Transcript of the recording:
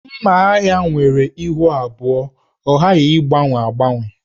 Mma agha nwere ihu abụọ, ọ gaghị agbanwe agbanwe.